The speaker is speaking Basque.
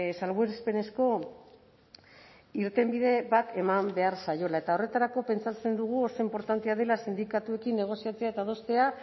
salbuespenezko irtenbide bat eman behar zaiola eta horretarako pentsatzen dugu oso inportantea dela sindikatuekin negoziatzea eta adostea